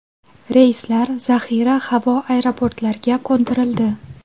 Reyslar zaxira havo aeroportlarga qo‘ndirildi.